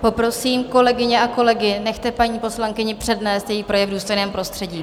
Poprosím kolegyně a kolegy, nechte paní poslankyni přednést její projev v důstojném prostředí.